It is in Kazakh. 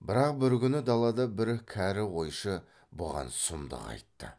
бірақ бір күні далада бір кәрі қойшы бұған сұмдық айтты